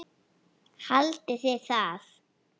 Haldiði það?